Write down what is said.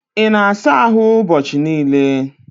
Ị na-asa ahụ ụbọchị niile?